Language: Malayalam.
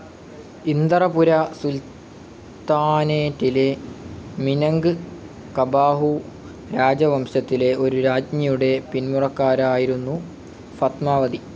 ഇന്ദറപുര സുൽത്താനേറ്റിലെ മിനങ്ക്കബാഹു രാജവംശത്തിലെ ഒരു രാജ്ഞിയുടെ പിന്മുറക്കാരായിരുന്നു ഫത്മാവതി.